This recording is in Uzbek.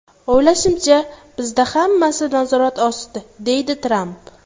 O‘ylashimcha, bizda hammasi nazorat ostida”, deydi Tramp.